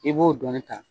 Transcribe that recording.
I b'o dɔɔnin ta